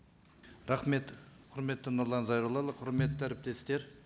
рахмет құрметті нұрлан зайроллаұлы құрметті әріптестер